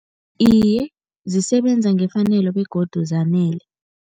Iye, zisebenza ngefanelo begodu zanele.